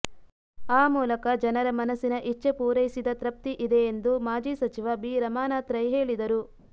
ಆ ಮೂಲಕ ಜನರ ಮನಸ್ಸಿನ ಇಚ್ಛೆ ಪೂರೈಸಿದ ತೃಪ್ತಿ ಇದೆ ಎಂದು ಮಾಜಿ ಸಚಿವ ಬಿ ರಮಾನಾಥ ರೈ ಹೇಳಿದರು